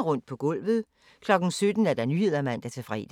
Rundt på gulvet 17:00: Nyhederne (man-fre)